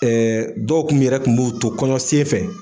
dɔw tun yɛrɛ tun b'u to kɔnɔ sen fɛ